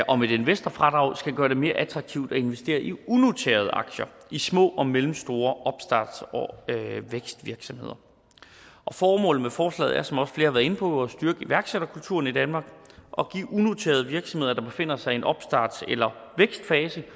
om et investorfradrag skal gøre det mere attraktivt at investere i unoterede aktier i små og mellemstore opstarts og vækstvirksomheder formålet med forslaget er som også flere har været inde på at styrke iværksætterkulturen i danmark og give unoterede virksomheder der befinder sig i en opstarts eller vækstfase